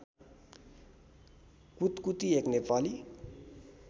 कुतकुती एक नेपाली